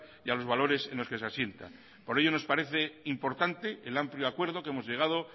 y a los valores en los que se asienta por ello nos parece importante el amplio acuerdo que hemos llegado